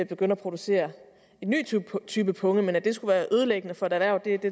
begynde at producere en ny type punge men at det skulle være ødelæggende for et erhverv